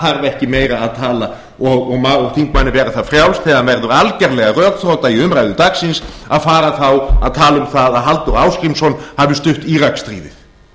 þarf ekki meira að tala og má þingmanni vera það frjálst þegar hann verður algjörlega rökþrota í umræðu dagsins að fara þá að tala um það að halldór ásgrímsson hafi stutt íraksstríðið